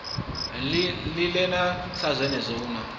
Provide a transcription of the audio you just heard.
linganela sa zwenezwo hu na